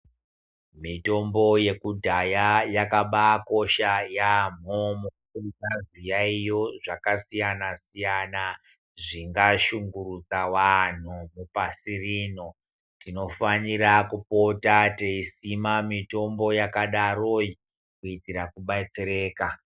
Mitombo yekudhaya yakabai kosha yamho mukuhina zviyayiyo zvaka siyana siyana zvinga shungurudza vanhu vepasi rino tinofanira kupota teisima mitombo yakadaroi kuitira ku batsereka.